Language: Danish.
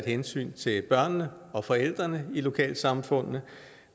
hensyn til børnene og forældrene i lokalsamfundene